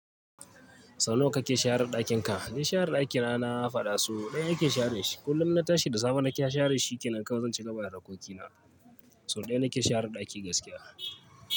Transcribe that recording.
Sau nawa kake share daƙin ka? Ni share ɗaki na faɗa so ɗaya nake share shi. Kullum na tashi da safe nake share shi kenan kawai zan cigaba da harkokina. So ɗaya nake share ɗaki gaskiya.